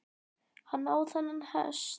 Hann á þennan hest.